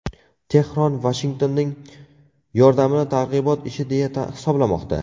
Tehron Vashingtonning yordamini targ‘ibot ishi deya hisoblamoqda.